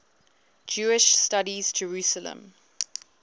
jewish studies jerusalem